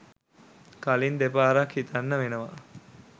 කලින් දෙපාරක් හිතන්න වෙනවා.